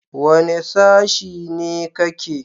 Wane sashi ne ka ke?